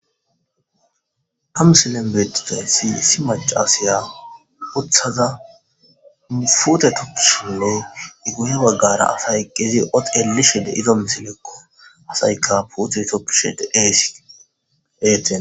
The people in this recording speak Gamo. Ha musillen beetizaythi issi macasaya uthaza upute tok shilloy iguhe baggara asay qezi ot eli shide izo misilekko asayka pute toppshede eesi eten.